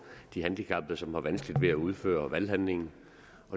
de handicappede som har vanskeligt ved at udføre valghandlingen